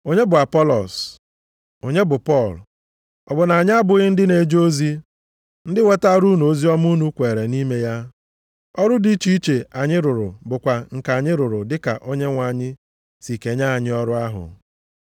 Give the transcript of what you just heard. Onye bụ Apọlọs? Onye bụ Pọl? Ọ bụ na anyị abụghị ndị na-eje ozi, ndị wetaara unu oziọma unu kweere nʼime ya. Ọrụ dị iche iche anyị rụrụ bụkwa nke anyị rụrụ dịka Onyenwe anyị si kenye anyị ọrụ ahụ.